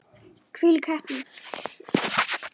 Hvílík heppni!